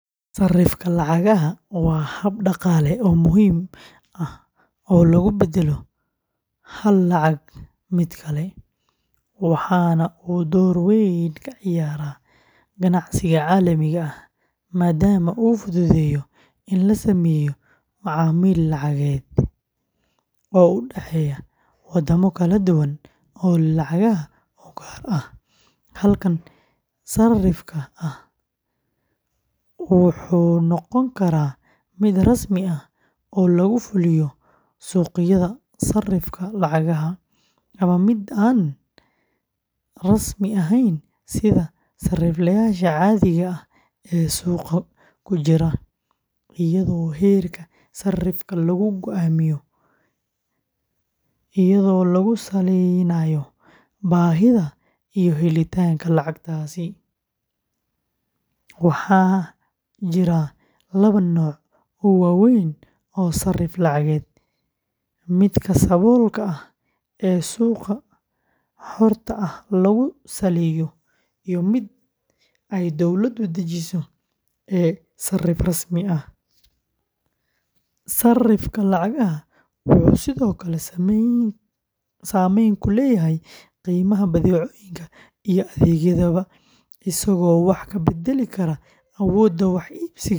Sarrifka lacagaha waa hab dhaqaale oo muhiim ah oo lagu beddelo hal lacag mid kale, waxaana uu door weyn ka ciyaaraa ganacsiga caalamiga ah, maadaama uu fududeeyo in la sameeyo macaamil lacageed oo u dhexeeya waddamo kala duwan oo leh lacagaha u gaar ah. Habkan sarrifka ah wuxuu noqon karaa mid rasmi ah oo lagu fuliyo suuqyada sarrifka lacagaha ama mid aan rasmi ahayn sida sarifleyaasha caadiga ah ee suuqa ku jira, iyadoo heerka sarrifka lagu go'aamiyo iyadoo lagu salaynayo baahida iyo helitaanka lacagtaasi. Waxaa jira laba nooc oo waaweyn oo sarrif lacageed: midka saboolka ah ee suuqa xorta ah lagu saleeyo iyo midka ay dawladu dejiso ee sarrif rasmi ah. Sarrifka lacagaha wuxuu sidoo kale saameyn ku leeyahay qiimaha badeecooyinka iyo adeegyadaba, isagoo wax ka beddeli kara awoodda wax iibsiga.